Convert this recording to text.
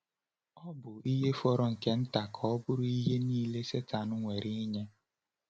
Ọ bụ ihe fọrọ nke nta ka ọ bụrụ ihe niile Sátán nwere ịnye.